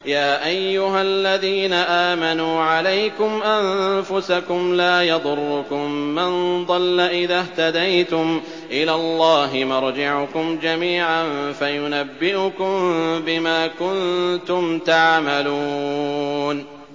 يَا أَيُّهَا الَّذِينَ آمَنُوا عَلَيْكُمْ أَنفُسَكُمْ ۖ لَا يَضُرُّكُم مَّن ضَلَّ إِذَا اهْتَدَيْتُمْ ۚ إِلَى اللَّهِ مَرْجِعُكُمْ جَمِيعًا فَيُنَبِّئُكُم بِمَا كُنتُمْ تَعْمَلُونَ